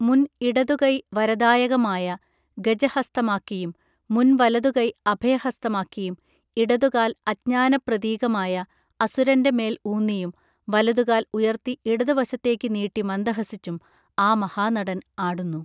മുൻ ഇടതുകൈ വരദായകമായ ഗജഹസ്തമാക്കിയും മുൻവലതുകൈ അഭയഹസ്തമാക്കിയും ഇടതുകാൽ അജ്ഞാനപ്രതീകമായ അസുരന്റെ മേൽ ഊന്നിയും വലതുകാൽ ഉയർത്തി ഇടതുവശത്തേക്കു നീട്ടി മന്ദഹസിച്ചും ആ മഹാനടൻ ആടുന്നു